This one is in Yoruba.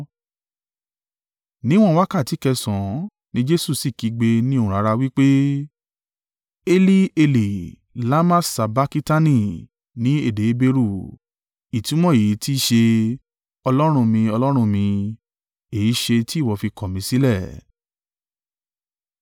Níwọ̀n wákàtí kẹsànán ní Jesu sì kígbe ní ohùn rara wí pé, “Eli, Eli, lama sabakitani” (ní èdè Heberu). Ìtumọ̀ èyí tí í ṣe, “Ọlọ́run mi, Ọlọ́run mi, èéṣe tí ìwọ fi kọ̀ mí sílẹ̀?”